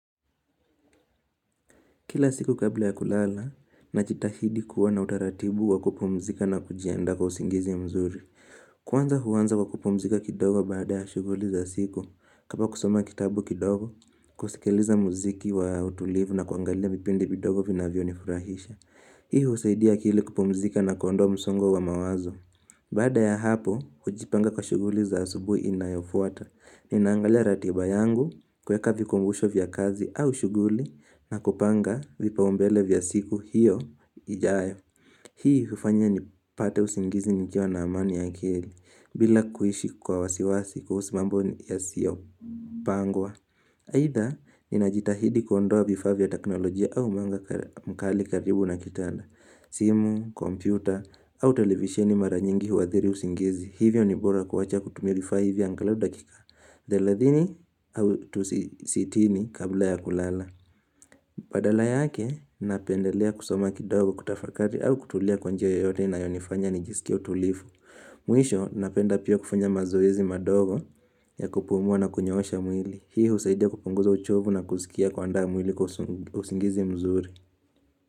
Kila siku kabla ya kulala nachitahidi kuwa na utaratibu wa kupumzika na kujianda kwa usingizi mzuri. Kwanza huanza kwa kupumzika kidogo baada ya shuguli za siku. Kama kusoma kitabu kidogo, kusikiliza muziki wa utulivu na kuangalia vipindi kidogo vinavyo nifurahisha. Hiu usaidia hili kupumzika na kuondoa msongo wa mawazo. Baada ya hapo, hujipanga kwa shuguli za asubuhi inayofuata. Ninangalia ratiba yangu kuweka vikumbusho vya kazi au shuguli na kupanga vipaumbele vya siku hiyo ijayo Hii hufanya nipate usingizi nikiwa na amani ya akili bila kuishi kwa wasiwasi kuhusu mambo yasiyo pangwa Haidha, ninajitahidi kuondoa vifaa vya teknolojia au mwanga mkali karibu na kitanda simu, kompyuta au televisieni mara nyingi huadhiri usingizi Hivyo ni bora kuwacha kutumia vifaa hivyo angalau dakika Dheladhini au tu sitini kabla ya kulala. Badala yake, napendelea kusoma kidogo kutafakari au kutulia kwa njia yoyote na inayonifanya nijisikie utulifu. Mwisho, napenda pia kufanya mazoezi madogo ya kupumua na kunyoosha mwili. Hii husaidia kupunguza uchovu na kuskia kuandaa mwili kwa usingizi mzuri.